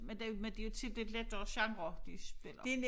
Men det men det jo tit lidt lettere genre de spiller